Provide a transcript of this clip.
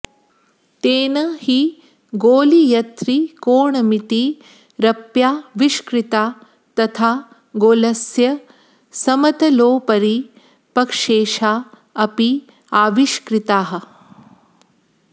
तेन हि गोलीयत्रिकोणमितिरप्याविष्कृता तथा गोलस्य समतलोपरि प्रक्षेपा अपि आविष्कृताः